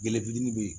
Gɛlɔfitini de be yen